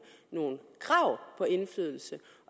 nogle krav på indflydelse